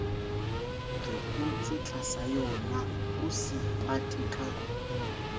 re hotse tlasayonao se ipateka